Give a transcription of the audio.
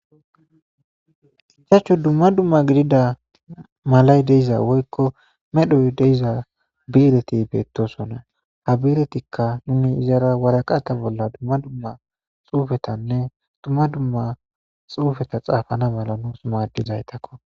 ichachu dumma dumma gidida malay deiza woykko medhoy deiza biireti beettosona ha biiretikka nuni izara waraqata bolla dumma dumma xuufetanne dumma dumma xuufeta xaafana mala nuus maaddizaytakko